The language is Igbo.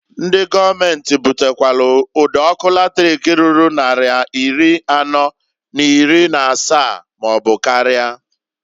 Ndi gọọmenti butakwalụ ụd' ọkụ latrik ruru nnari iri anọọ n'iri n'asaa maọbụ karịa.